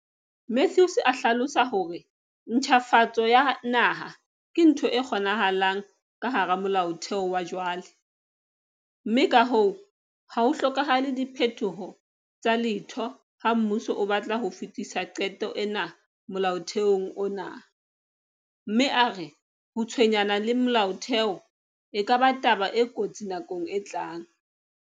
Mathews a hlalosa hore ntjhafatso ya naha ke ntho e kgonahalang ka hara molaotheo wa jwale, mme ka hoo ha ho hlokahale diphetoho tsa letho ha mmuso o batla ho fetisa qeto ena molaotheong ona, mme a re ho tshwenyana le molaotheo e ka ba taba e kotsi nakong e tlang.